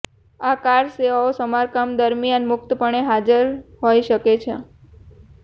આ કાર સેવાઓ સમારકામ દરમિયાન મુક્તપણે હાજર હોઇ શકે છે